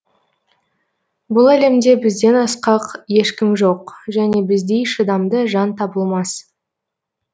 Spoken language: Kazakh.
бұл әлемде бізден асқақ ешкім жоқ және біздей шыдамды жан табылмас